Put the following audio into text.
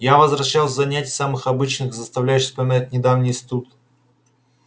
я возвращался с занятий самых обычных заставлявших вспоминать недавний институт